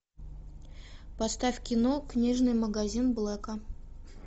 поставь кино книжный магазин блэка